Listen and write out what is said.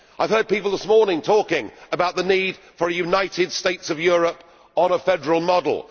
I have heard people this morning talking about the need for a United States of Europe on a federal model.